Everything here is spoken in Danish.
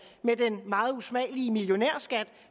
med den meget usmagelige millionærskat